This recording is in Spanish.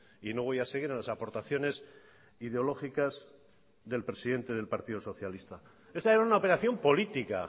y no voy a seguir en las aportaciones ideológicas del presidente del partido socialista esa era una operación política